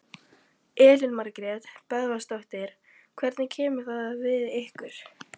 Elín Margrét Böðvarsdóttir: Hvernig kemur það við ykkur?